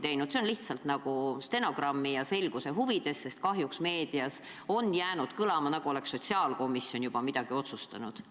See on öeldud lihtsalt stenogrammi ja selguse huvides, sest kahjuks on meedias kõlama jäänud, nagu oleks sotsiaalkomisjon juba midagi otsustanud.